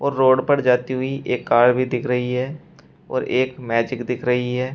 Road पर जाती हुई एक कार भी दिख रही है और एक मैजिक दिख रही है।